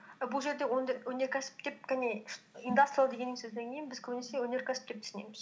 бұл жерде өнеркәсіп деп кәне индастриал деген сөзден кейін біз көбінесе өнеркәсіп деп түсінеміз